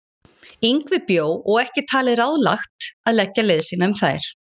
Yngvi bjó og ekki talið ráðlegt að leggja leið sína um þær.